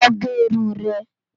Lò gè irún rè